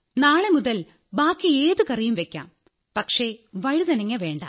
നാളെ മുതൽ ബാക്കി ഏതു കറിയും വയ്ക്കാം പക്ഷേ വഴുതനങ്ങ വേണ്ട